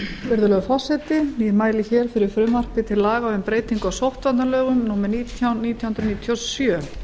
virðulegur forseti ég mæli hér fyrir frumvarpi til laga um breytingu á sóttvarnalögum númer nítján nítján hundruð níutíu og sjö